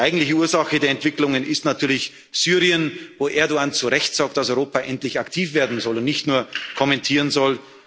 um voranzugehen. Die eigentliche Ursache der Entwicklungen ist natürlich Syrien, wo Erdoğan zu Recht sagt, dass Europa endlich aktiv werden und nicht